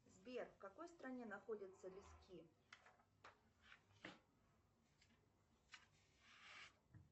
сбер в какой стране находятся виски